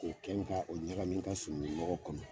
K'o kɛn ta k'o ɲagamin n ka surunkun nɔgɔ kɔnɔ.